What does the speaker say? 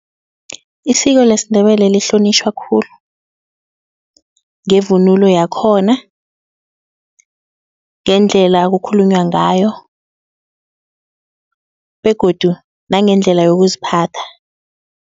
Isiko lesiNdebele lihlonitjhwa khulu ngevunulo yakhona. Ngendlela okukhulunywa ngayo begodu nangendlela yokuziphatha.